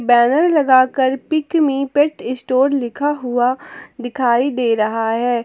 Banner लगा कर pick me pet store लिखा हुआ दिखाई दे रहा है।